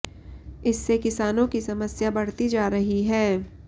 इससे किसानों की समस्या बढ़ती जा रही है